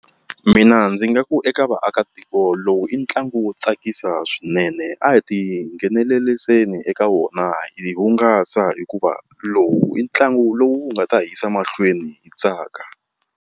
Mina ndzi nga ku eka vaakatiko lowu i ntlangu wo tsakisa swinene a hi ti ngheneleriseni eka wona hi hungasa hikuva lowu i ntlangu lowu nga ta yisa mahlweni hi tsaka.